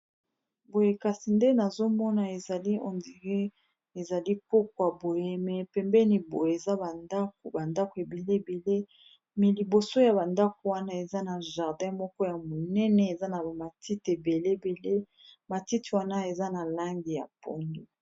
boye kasi nde nazomona ezali hondie ezali pokwa boyeme pembeni boye eza bandako bandako ebele ebele mi liboso ya bandako wana eza na jardin moko ya monene eza na bamatite ebele ebele matite wana eza na lange ya poni